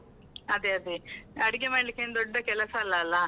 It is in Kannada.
ಅದೆ ಅದೆ, ಅಡಿಗೆ ಮಾಡ್ಲಿಕ್ಕೆ ಏನ್ ದೊಡ್ಡ ಕೆಲಸ ಅಲ್ಲಲ್ಲ.